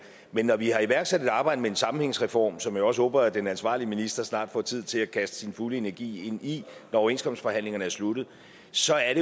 men når vi har iværksat et arbejde med en sammenhængsreform som jeg også håber at den ansvarlige minister snart får tid til at kaste sin fulde energi ind i når overenskomstforhandlingerne er sluttet så er